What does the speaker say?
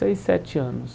Seis, sete anos.